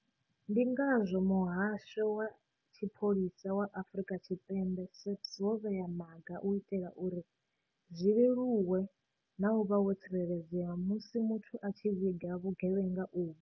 Ndi ngazwo Muhasho wa Tshipholisa wa Afrika Tshipembe SAPS wo vhea maga u itela uri zwi leluwe na u vha wo tsireledzea musi muthu a tshi vhiga vhugevhenga uvhu.